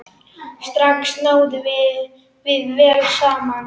Strax náðum við vel saman.